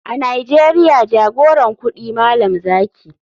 A nigeria jagoran kudi malam zaki.